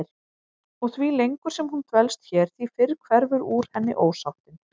Og því lengur sem hún dvelst hér því fyrr hverfur úr henni ósáttin.